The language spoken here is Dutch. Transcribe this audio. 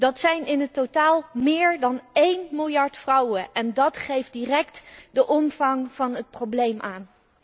Dat zijn in het totaal meer dan 1 miljard vrouwen en dat geeft direct de omvang van het probleem aan.